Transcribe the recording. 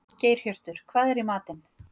Geirhjörtur, hvað er í matinn?